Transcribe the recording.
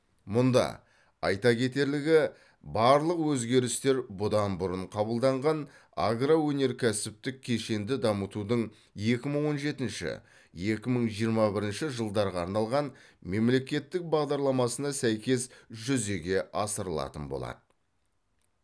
мұнда айта кетерлігі барлық өзгерістер бұдан бұрын қабылданған агроөнеркәсіптік кешенді дамытудың екі мың он жетінші екі мың жиырма бірінші жылдарға арналған мемлекеттік бағдарламасына сәйкес жүзеге асырылатын болады